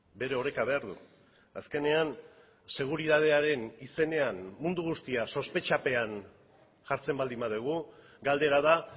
bere oreka behar du azkenean seguritatearen izenean mundu guztia sospetxapean jartzen baldin badugu galdera da